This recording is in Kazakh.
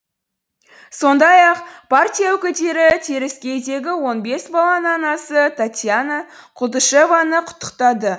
сондай ақ партия өкілдері теріскейдегі он бес баланың анасы татьяна култышеваны құттықтады